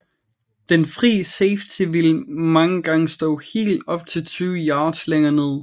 Den fri safety vil mange gange stå helt op til tyve yards længere nede